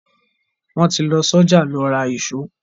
Wọ́n ti lọ sọ́jà lọ ra ìṣó.